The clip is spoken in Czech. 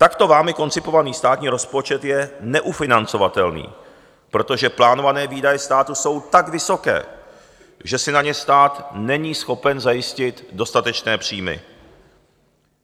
Takto vámi koncipovaný státní rozpočet je neufinancovatelný, protože plánované výdaje státu jsou tak vysoké, že si na ně stát není schopen zajistit dostatečné příjmy.